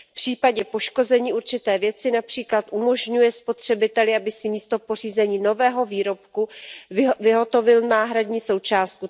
V případě poškození určité věci například umožňuje spotřebiteli, aby si místo pořízení nového výrobku vyhotovil náhradní součástku.